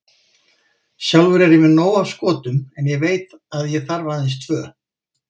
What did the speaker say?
Sjálfur er ég með nóg af skotum en ég veit að ég þarf aðeins tvö.